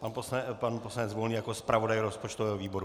Pan poslanec Volný jako zpravodaj rozpočtového výboru.